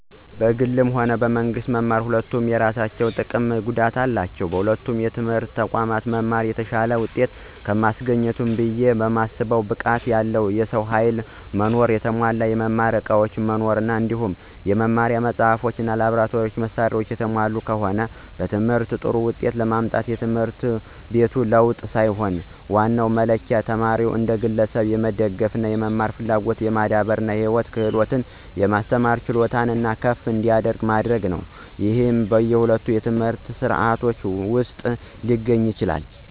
በግል እና በመንግስት መማር ሁለቱም የየራሳቸው ጥቀምም ጉዳትም አላቸው። በሁለቱም የትምህርት ተቋማት መማር የተሻለ ውጤት ከሚያስገኝበት ብየ ማስበው ብቃት ያለው የሰው ኃይል መኖር፣ የተሟላ የመማሪያ ዕቃዎች መኖር እንዲሁም የመማሪያ መጻሕፍት እና የላብራቶሪ መሳሪያዎች የተሟሉ ከሆነ። በትምህርት ጥሩ ውጤት ለማምጣት የትምህርት ቤት ለውጥ ሳይሆን ዋናው መለኪያ ተማሪውን እንደ ግለሰብ የመደገፍ፣ የመማር ፍላጎትን የማዳበር እና የህይወት ክህሎቶችን የማስተማር ችሎታው ከፍ እንዲል መደገፍ፤ ይህም በሁለቱም የትምህርት ሥርዓቶች ውስጥ ሊገኝ ይችላል።